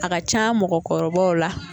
A kan ca mɔgɔkɔrɔbaw la